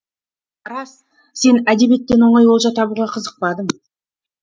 рас сен әдебиеттен оңай олжа табуға қызықпадың